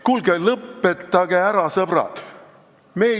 Kuulge, lõpetage ära, sõbrad!